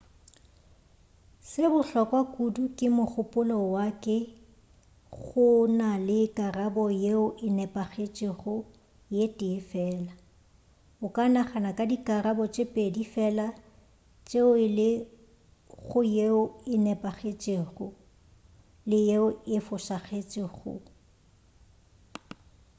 se bohlokwa kudu ka mogopolo wa ke go na le karabo yeo e nepagetšego ye tee fela o ka nagana ka dikarabo tše pedi fela tšeo e le go yeo e nepagetšego le yeo e fošagetšego